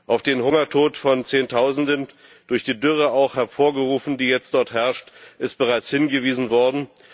Auf den Hungertod von Zehntausenden, auch durch die Dürre hervorgerufen, die jetzt dort herrscht, ist bereits hingewiesen worden.